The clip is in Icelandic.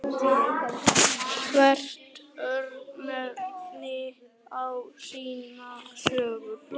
Hvert örnefni á sína sögu.